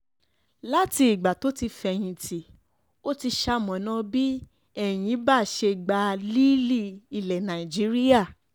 láti ìgbà tó ti fẹ̀yìntì ó ti ṣamọ̀nà bí enyimba ṣe gba líìlì ilẹ̀ nàìjíríà